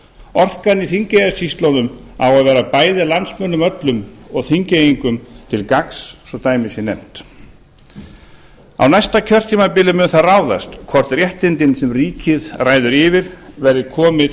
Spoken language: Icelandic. orkan í þingeyjarsýslunum á að vera bæði landsmönnum öllum og þingeyingum til gagns svo að dæmi sé nefnt á næsta kjörtímabili mun það ráðast hvort réttindin sem ríkið ræður yfir verði komin til